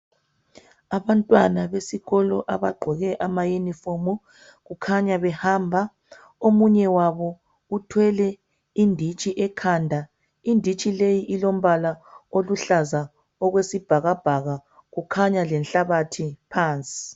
Abantwana besikolo abagqoke amayunifomu kukhanya behamba omunye wabo uthwele inditshi ekhanda inditshi leyi ilombala oluhlaza okwesibhakabhaka kukhanya lenhlabathi phansi